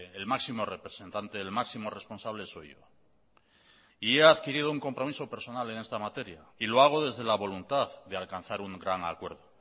el máximo representante el máximo responsable soy yo y he adquirido un compromiso personal en esta materia y lo hago desde la voluntad de alcanzar un gran acuerdo